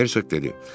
Hersoq dedi: